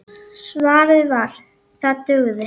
Svarið var: það dugði.